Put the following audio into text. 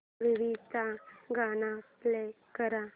movie चं गाणं play कर